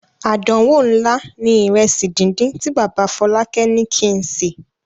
Àdánwò ńlá ni ìrẹsì díndín tí bàbá Fọlákẹ́ ní kí n sè.